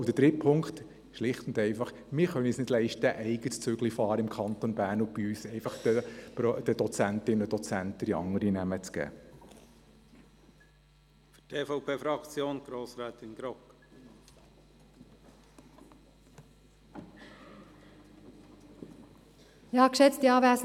Zum Dritten Punkt: Wir können es uns nicht leisten, im Kanton Bern einen eigenen Zug zu fahren und den Dozentinnen und Dozenten andere Namen zu geben.